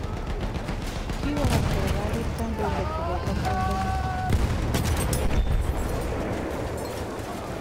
Kikorat serkalit kandoindet koboto kwondonyi